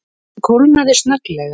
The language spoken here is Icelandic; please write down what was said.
Honum kólnaði snögglega.